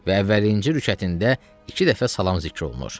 Və əvvəlinci rükətində iki dəfə salam zikr olunur.